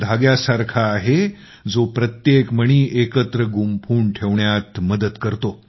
धाग्यासारखा आहे जो प्रत्येक मणी एकत्र गुंफून ठेवण्यात मदत करतो